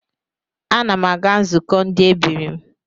Ana m aga nzụkọ ndi ebiri m